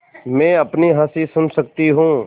मैं अपनी हँसी सुन सकती हूँ